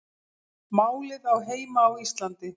Málið á heima á Íslandi